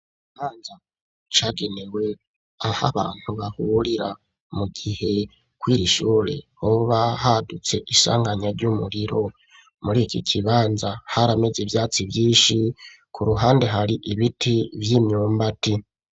Ikibanza cagenewe aho abantu bahurira mu gihe kuriri shure hoba hadutse isanganya ry'umuriro muri iki kibanza harameze ivyatsi vyinshi ku ruhande hari ibiti vy'imyumbati.